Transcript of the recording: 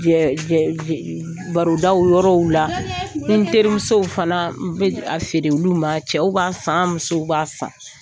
barodaw yɔrɔw la n teri musow fana n bɛ a feere olu ma cɛw b'a san musow b'a san.